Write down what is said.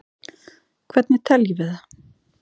Hvernig teljum við það?